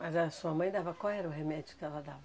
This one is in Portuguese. Mas a sua mãe dava qual era o remédio que ela dava?